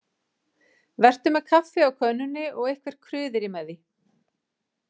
Vertu með kaffi á könnunni og eitthvert kruðerí með því.